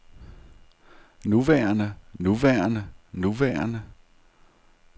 nuværende nuværende nuværende